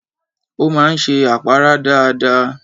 Ó máa ń ṣe àpárá dáadáa